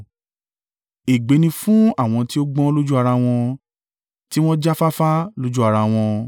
Ègbé ni fún àwọn tí ó gbọ́n lójú ara wọn tí wọ́n jáfáfá lójú ara wọn.